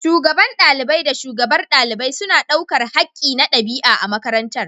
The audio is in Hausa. Shugaban ɗalibai da shugabar ɗalibai suna ɗaukar haƙƙi na ɗabi’a a makarantar.